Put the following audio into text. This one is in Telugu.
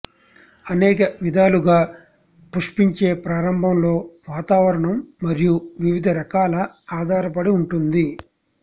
అనేక విధాలుగా పుష్పించే ప్రారంభంలో వాతావరణం మరియు వివిధ రకాల ఆధారపడి ఉంటుంది